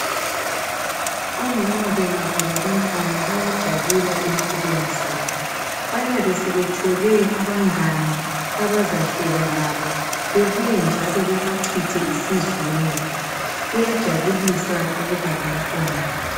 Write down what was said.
Omama bengaba labantwana bayajabula empilweni zabo. Bayabe sebethole abangane abazahleka labo, bebuya njalo bebachithe isizungu. Kuyajabulisa ukuba lomntwana.